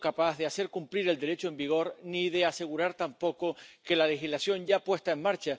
Ceea ce am făcut eu în Parlamentul European ar trebui să facă fiecare europarlamentar.